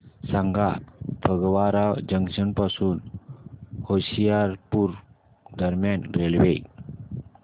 सांगा फगवारा जंक्शन पासून होशियारपुर दरम्यान रेल्वे